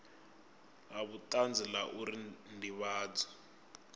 la vhutanzi la uri ndivhadzo